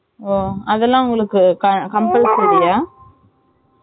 ஓ அதுலாம் உங்களுக்கு compulsory யா